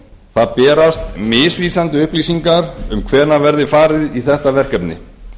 það berast misvísandi upplýsingar um hvenær verði farið í þetta verkefni